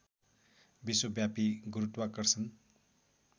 विश्वव्यापी गुरूत्वाकर्षण